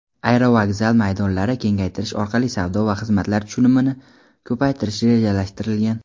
aerovokzal maydonlarini kengaytirish orqali savdo va xizmatlar tushumini ko‘paytirish rejalashtirilgan.